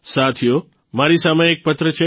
સાથીઓ મારી સામે એક પત્ર છે